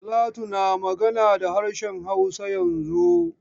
Talatu na magana da harshen Hausa yanzun.